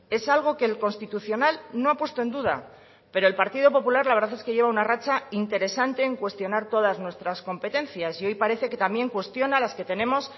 es algo que el constitucional no ha puesto en duda pero el partido popular la verdad es que lleva una racha interesante en cuestionar todas nuestras competencias y hoy parece que también cuestiona las que tenemos